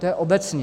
To je obecně.